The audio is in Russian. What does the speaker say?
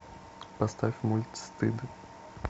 поставь мульт стыд